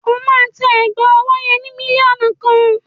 Ó máa ta ẹ̀gbà ọwọ́ yẹn ni mílíọ̀nù kan.